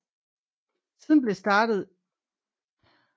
Siden blev startet i januar 2005